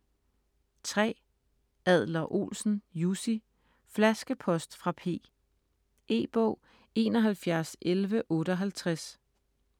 Adler-Olsen, Jussi: Flaskepost fra P E-bog 711158